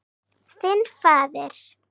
Þinn faðir.